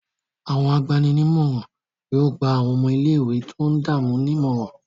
Àwọn agbani-nímọ̀ràn yóò gba àwọn ọmọ ilé-ìwé tó ń dààmú nímọ̀ràn.